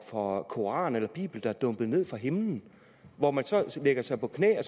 for koran eller bibel der er dumpet ned fra himlen hvor man så lægger sig på knæ og